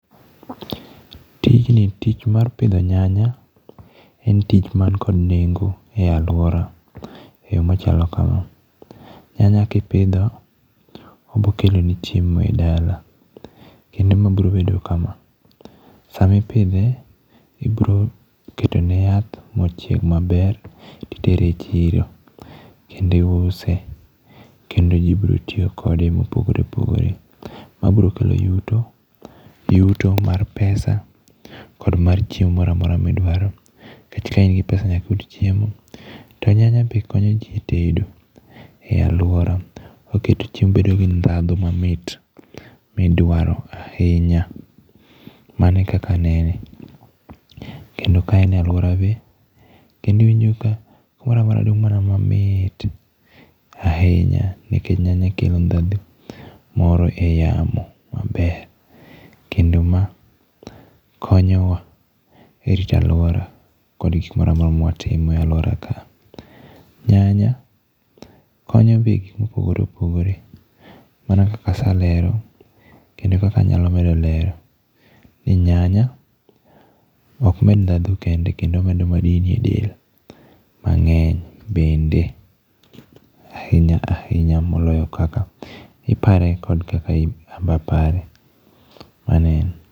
Tijni, tich mar pidho nyanya, en tich man kod nengo e alwora, e yo machalo kama. Nyanya kipidho obiro keloni chiemo e dala, kendo ma biro bedo kama, sama ipidhe ibiro keto ne yath, ma ochieg maber to itere e chiro, kendo iuse, kendo ji biro tiyo kode e yo mopogore opogore. Mabiro kelo yuto, yuto mar pesa kod mar chiemo moro amora ma idwaro. Nikech ka in gi pesa nyaka iyud chiemo. To nyanya be konyo ji tedo, e alwora. Oketo chiemo bedo gi ndhadhu mamit midwaro ahinya. Mano e kaka anene. Kendo ka en e alwora be, kendo iwinjo ka kumoro amora dung' mana mamit ahinya, nikecha nyanya kelo ndhadhu moro e yamo maber. Kendo ma konyowa e rito alwora kod gik moro amora ma watimo e alwora ka. Nyanya konyo be gik ma opogore opogore, mana kaka aselero, kendo kaka anyalo medo lero, ni nyanya ok med ndhadhu kende, kendo omedo madini e del mangény bende ahinya ahinya moloyo kaka ipare kod kaka anbe apare. Mano e en.